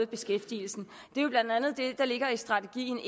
beskæftigelsen det er jo blandt andet det der ligger i strategien